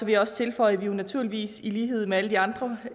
jeg også tilføje at vi jo naturligvis i lighed med alle de andre